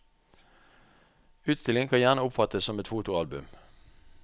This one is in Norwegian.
Utstillingen kan gjerne oppfattes som et fotoalbum.